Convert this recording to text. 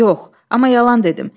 Yox, amma yalan dedim.